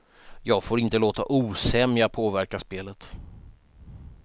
Jag får inte låta osämja påverka spelet.